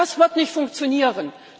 Das wird nicht funktionieren.